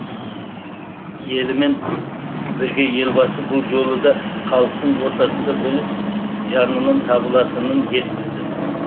елімен бірге елбасы бұл жолы да халықтың ортасында болып жанынан табылатынын жеткізді